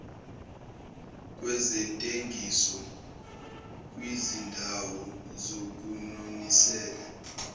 kwezentengiso kwizindawo zokunonisela